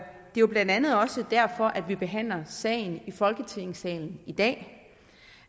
jo blandt andet også derfor at vi behandler sagen i folketingssalen i dag